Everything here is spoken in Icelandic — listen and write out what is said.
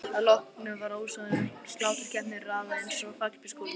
Að því loknu var ósoðnum sláturkeppunum raðað upp einsog fallbyssukúlum.